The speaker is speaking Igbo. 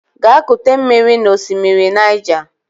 Gaa kute mmiri n'osimiri Niger!